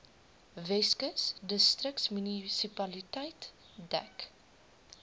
weskus distriksmunisipaliteit dek